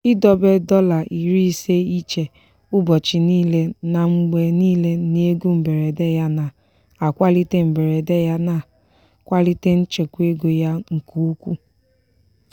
idobe dọla iri ise iche ụbọchị niile na mgbe niile n'ego mberede ya na-akwalite mberede ya na-akwalite nchekwa ego ya nke ukwuu.